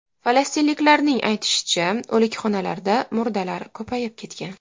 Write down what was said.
Falastinliklarning aytishicha, o‘likxonalarda murdalar ko‘payib ketgan.